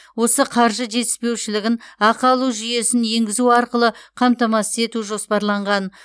осы қаржы жетіспеушілігін ақы алу жүйесін енгізу арқылы қамтамасыз ету жоспарланған